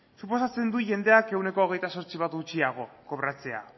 suposatzen du jendeak ehuneko hogeita zortzi bat gutxiago kobratzea